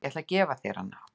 Ég ætla að gefa þér hana.